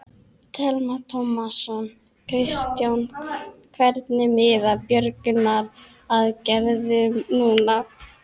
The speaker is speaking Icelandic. Telma Tómasson: Kristján, hvernig miðar björgunaraðgerðum núna?